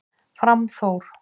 Fram Þór